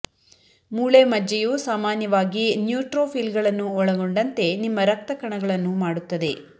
ಮೂಳೆ ಮಜ್ಜೆಯು ಸಾಮಾನ್ಯವಾಗಿ ನ್ಯೂಟ್ರೋಫಿಲ್ಗಳನ್ನು ಒಳಗೊಂಡಂತೆ ನಿಮ್ಮ ರಕ್ತ ಕಣಗಳನ್ನು ಮಾಡುತ್ತದೆ